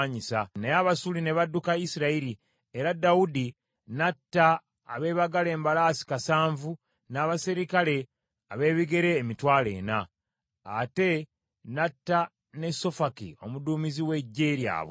Naye Abasuuli ne badduka Isirayiri, era Dawudi n’atta abeebagala embalaasi kasanvu, n’abaserikale ab’ebigere emitwalo ena. Ate n’atta ne Sofaki omuduumizi w’eggye lyabwe.